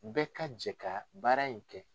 Bɛɛ ka jɛ ka baara in kɛ.